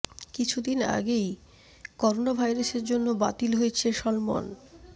কিছু দিন আগেই করোনা ভাইরাসের জন্য বাতিল হয়েছে সলমন